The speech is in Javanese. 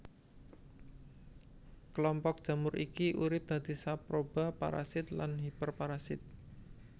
Kelompok jamur iki urip dadi saproba parasit lan hiperparasit